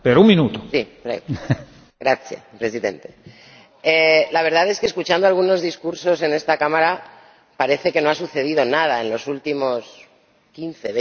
Señor Presidente, la verdad es que, escuchando algunos discursos en esta Cámara, parece que no ha sucedido nada en los últimos quince o veinte años.